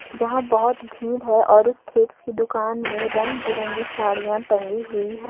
जहां बहुत भीड़ है और उस थ्रेड्स की दुकान में रंग बिरंगी साड़ियां टंगी हुई है।